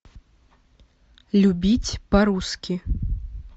любить по русски